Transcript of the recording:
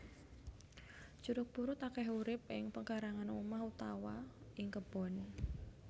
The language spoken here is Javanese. Jeruk purut akeh urip ing pekarangan omah utawa ing kebon